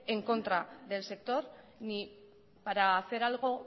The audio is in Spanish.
en contra del sector ni para hacer algo